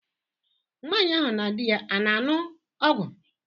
Nwaanyị ahụ na di ya a na-anụ ọgụ?